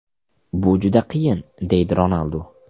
Bu juda qiyin”, deydi Ronaldu.